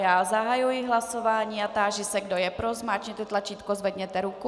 Já zahajuji hlasování a táži se, kdo je pro, zmáčkněte tlačítko, zvedněte ruku.